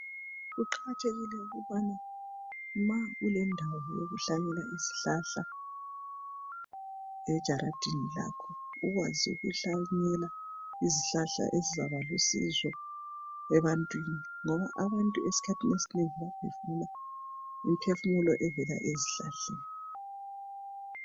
Kuqakathekile ukubana ma ulendawo yokuhlanyela izihlahla ejaradini lakho ukwazi ukuhlanyela izihlahla ezizaba ebantwini ngoba abantu ezikhathini ezinengi bayabe befuna imiphefumulo evela ezihlahleni.